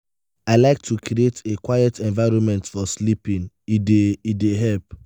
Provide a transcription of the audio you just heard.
i like to create a quiet environment for sleeping; e dey e dey help.